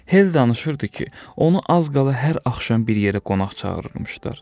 Hell danışırdı ki, onu az qala hər axşam bir yerə qonaq çağırırdılar.